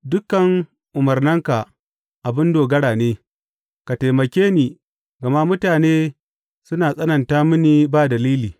Dukan umarnanka abin dogara ne; ka taimake ni, gama mutane suna tsananta mini ba dalili.